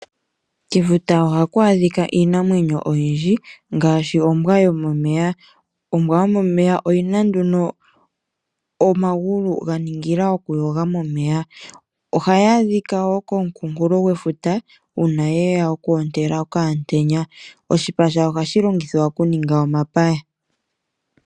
Kefuta ohaku adhika iinamwenyo oyindji, ngaashi ombwa yomomeya. Ombwa yomomeya oyi na nduno omagulu ga ningila oku yoga momeya. Oha yi adhika wo komukunkulo gwefuta, uuna ye ya oku ontela okaantenya. Oshipa shayo oha shi longithwa oku ninga omapaya.